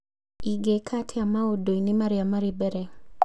ingĩka atĩa maũndũ-inĩ marĩa marĩ mbere